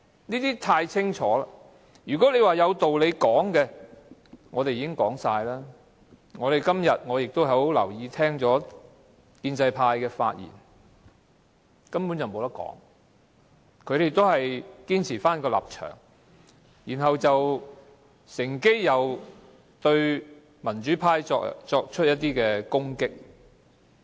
我們已闡述所有道理，而我今天亦很留意建制派的發言，但根本沒有討論的餘地，他們依然堅持立場，還乘機對民主派作出攻擊。